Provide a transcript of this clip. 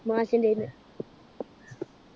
മാഷിന്‍ടെയ്ന്നു.